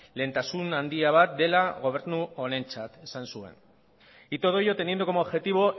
lehentasun handia bat dela gobernu honentzat esan zuen y todo ello teniendo como objetivo